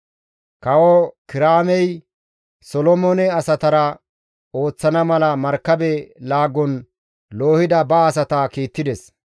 Kawo Kiraamey Solomoone asatara ooththana mala markabe laagon loohida ba asata kiittides.